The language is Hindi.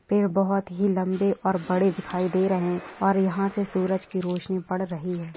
पेड बहुत ही लंबे और बड़े दिखाई दे रहे है और यहा से सूरज की रोशनी बढ़ रही है।